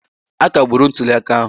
Akagburu ntuli aka ahụ.